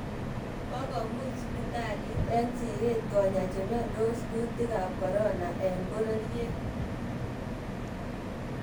Kokomuuch sibitaliit eng siret konyaa chemyondos kuutikab corona eng bororyeet